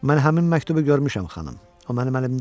Mən həmin məktubu görmüşəm, xanım, o mənim əlimdə idi.